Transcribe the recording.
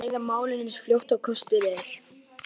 Við þurfum að ræða málin eins fljótt og kostur er.